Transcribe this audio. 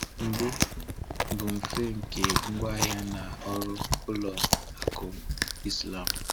Mbụ, bụ mfe nke ngwaahịa na ọrụ ụlọ akụ Islam.